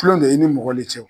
Kulon don e ni mɔgɔ le cɛ o